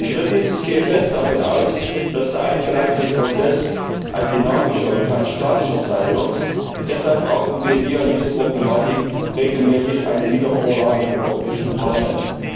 Drittens, ich gehe fest davon aus, dass der eingeleitete Prozess ein dynamischer und kein statischer sein wird, und deshalb brauchen wir hier in dieser Problematik regelmäßig eine Wiedervorlage im Europäischen Parlament.